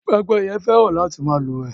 Pẹ́pẹ́yẹ fẹ́ràn láti má lúwèé